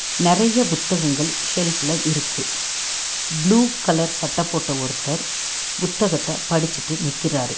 நெறைய புத்தகங்கள் ஷெல்ப் ல இருக்கு ப்ளூ கலர் சட்ட போட்ட ஒருத்தர் புத்தகத்த படிச்சிட்டு நிக்கிறாரு.